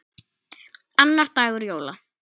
Annar dagur jóla.